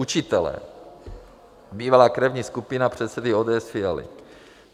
Učitelé, bývalá krevní skupina předsedy ODS Fialy.